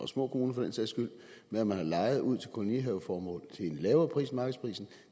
små kommuner med at man har lejet ud til kolonihaveformål til en lavere pris end markedsprisen